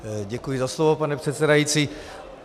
Děkuji za slovo, pane předsedající.